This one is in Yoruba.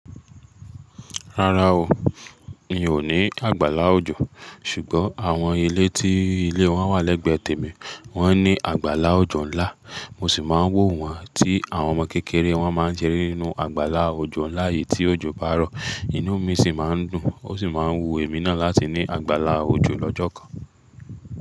Rárá o, mi ò ní àgbàlá òjò. Ṣùgbọ́n àwọn ilé tí ilé wọn wà lẹ́gbẹ̀ẹ́ tèmi wọ́n ní àgbàlá òjò ńlá, mo sì máa ń wò wọ́n tí àwọn ọmọ kékeré wọn máa ń ṣeré nínú àgbàlá òjò ńlá yìí tí òjò bá rọ. Inú mi sì máa ń dùn ó sì máa ń wu èmi náà láti ní àgbàlá òjò lọ́jọ́ kan.